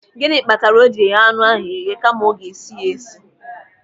Gịnị kpatara o ji eghe anụ ahụ eghe kama ọ ga-esi ya esi?